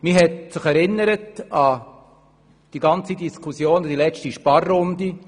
Man erinnere sich an die Diskussion im Zusammenhang mit der letzten Sparrunde.